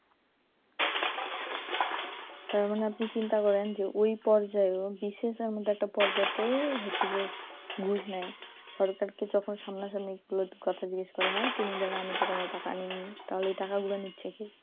তার মানে আপনি চিন্তা করেন ওই পর্যায়েও BCS এর মত পর্যাতেও ঘুষ নেয় সরকারকে যখন সামনা সামনি তুলে কথা জিজ্ঞেস করা হয় তিনি তো বলেন আমি তো কোনো টাকা নেইনি তাহলে এই টাকা গুলো নিচ্ছে কে,